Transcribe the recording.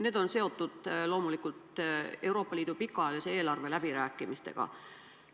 Need on seotud loomulikult Euroopa Liidu pikaajalise eelarve läbirääkimistega.